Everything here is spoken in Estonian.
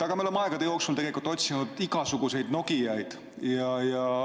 Aga me oleme aegade jooksul otsinud igasuguseid Nokiaid.